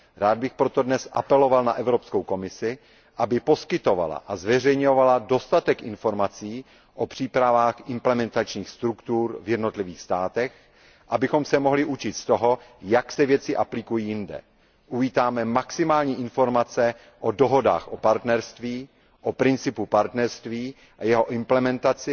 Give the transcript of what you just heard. Rád bych proto dnes apeloval na Evropskou komisi, aby poskytovala a zveřejňovala dostatek informací o přípravách implementačních struktur v jednotlivých státech, abychom se mohli učit z toho, jak se věci aplikují jinde. Uvítáme maximální informace o dohodách o partnerství, o principu partnerství a jeho implementaci